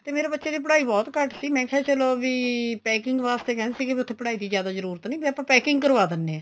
ਤੇ ਮੇਰੇ ਬੱਚੇ ਦੀ ਪੜ੍ਹਾਈ ਬਹੁਤ ਘੱਟ ਸੀ ਤੇ ਮੈ ਕਿਹਾ ਚਲੋ ਵੀ packing ਵਾਸਤੇ ਕਹਿੰਦੇ ਸੀ ਵੀ ਉੱਥੇ ਪੜ੍ਹਾਈ ਦੀ ਜਿਆਦਾ ਜਰੂਰਤ ਨੀਂ ਵੀ ਆਪਾਂ packing ਕਰਵਾ ਦਿੰਦੇ ਆ